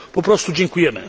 Po prostu dziękujemy.